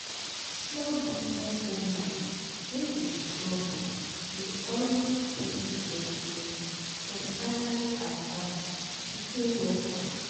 small business owner wey dey struggle dey always beg investors for salary advance to pay workers